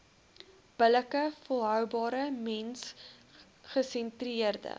billike volhoubare mensgesentreerde